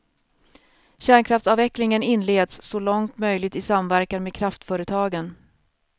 Kärnkraftsavvecklingen inleds, så långt möjligt i samverkan med kraftföretagen.